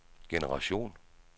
generation